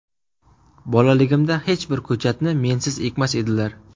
Bolaligimda hech bir ko‘chatni mensiz ekmas edilar.